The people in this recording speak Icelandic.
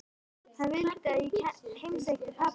Hann vildi að ég heimsækti pabba.